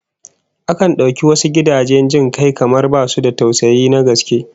Akan dauki wasu gidajen jin kai kamar basu da tausayi na gaske